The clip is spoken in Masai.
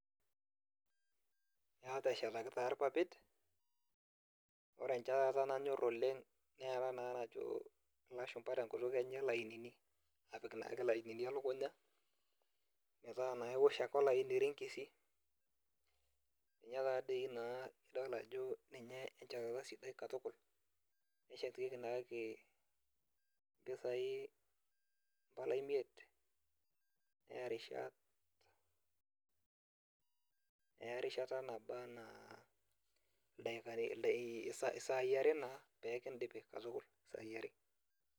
Ee ateshataki taa irpapit, ore enchetara nanyor oleng nena naa najo ilashumpa tenkutuk enye ilainini. Apik naake ilainini elukunya, metaa naa iwosh ake olaini irinkisi, ninye tadi naa adol ajo ninye enchetata sidai katukul. Neshetieki naake impisai impala imiet, neya rishat, eya erishata naba enaa isaai are naa pekidipi katukul, isaai are.